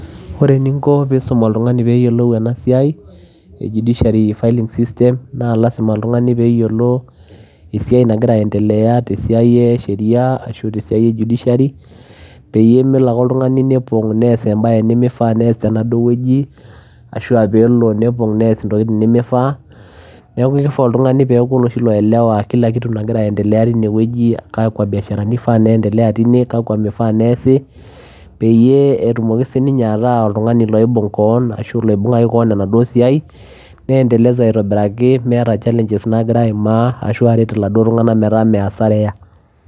Ore eninko pee iisuum oltung'ani pee eyiolou ena siaie judiciary filing system naa lasima oltung'ani pee eyiolo esiai nagira aiendelea te siai esheriaa ashu te esiai e judiciary peyie melo ake oltung'ani nepong' nees embaye nemifaa pee eas tenaduo wueji ashu aa pee elo nepong' nees ntokitin nemifaa, neeku kifaa oltung'ani pee eeku oloshi loielewa kila kitu nagira aiendelea tinewueji, kakwa biasharani ifaa niendelea kakwa mifaa neesi peyie etumiki sininye ataa oltung'ani loibung' keon ashu loibung'aki keon enaduo siai niendeleza aitobiraki meeta challenges naagira aimaa ashu aret iladuo tung'anak metaa mee asara eeya.